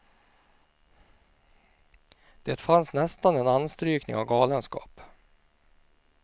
Det fanns nästan en anstrykning av galenskap.